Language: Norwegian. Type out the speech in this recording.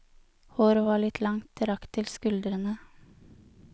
Håret var litt langt, det rakk til skuldrene.